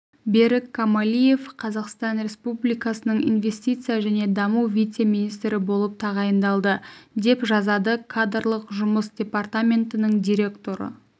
берік камалиев қазақстан республикасының инвестиция және даму вице-министрі болып тағайындалды деп жазады кадрлық жұмыс департаментінің директоры